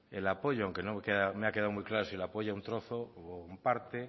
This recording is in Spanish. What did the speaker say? el apoyo aunque no me ha quedado muy claro si le apoya un trozo o una parte